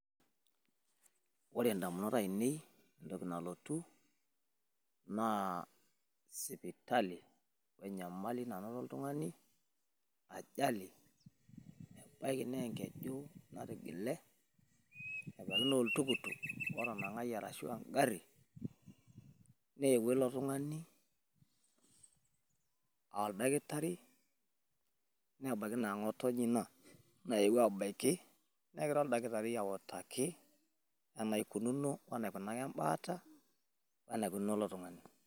Ore intamunot aainei entoki nalotu naa sipitali enyamali nanoto oltung'ani ajali naa enkeju natigile oltukutuk otanang'ayie ashuu engari neeewuo ilo tung'ani aa oldakitari nebaiki naa ngo'otonye ina nayewuo abaiki negira orkitari autaki enaikunaka embaata oneikunono ilo tung'ani.